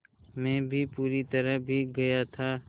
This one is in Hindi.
मैं भी पूरी तरह भीग गया था